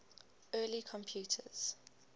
early computers